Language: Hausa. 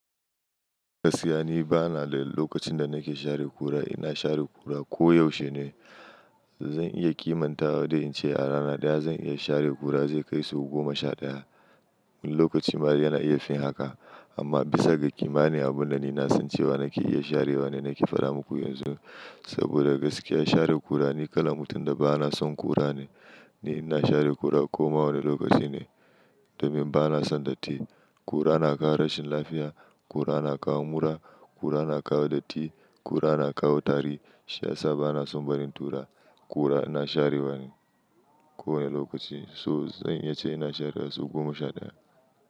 Gaskiya ni bana da lokacin da nake share kura. Ina share kura ko yaushe ne. Zan iya kimantawa da in ce a rana daya zan iya share kura zai kai sau goma sha daya. Wani lokaci ma dai yana iya fin haka amma bisa ga ƙimanin abun da ni na san cewa nake iya share wa ni nake fara muku yanzu. Saboda gaskiya share kura ni kalan mutum da bana son kura ne. Ni ina share kura ko ma wane lokaci ne domin bana son datti. Kura na kawo rashin lafiya, kura na kawo mura, kura na kawo datti, kura na kawo tari. Shi ya sa bana son barin tura. Kura ina share wa ne kowane lokaci, so zan iya ce ina share sau goma sha daya.